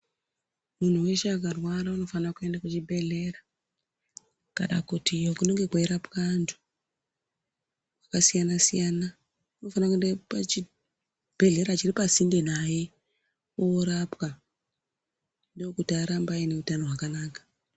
Muntu weshe akarwara unofane kuenda kuzvibhehlera kana kuti iyo kunenhe kweyirapwa antu vakasiyana siyana. Umofane kuenda pachibhehlera chiri pasinde naye orapwa ndokuti arambe ane utano hwakanaka.